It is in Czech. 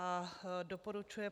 a) doporučuje